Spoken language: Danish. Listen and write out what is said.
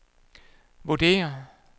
vurderer